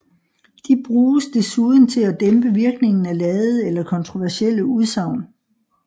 De bruges desuden til at dæmpe virkningen af ladede eller kontroversielle udsagn